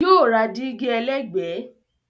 Yóò ra dígí ẹlẹ́gbẹ̀ẹ́